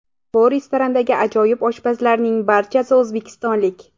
Bu restorandagi ajoyib oshpazlarning barchasi o‘zbekistonlik”.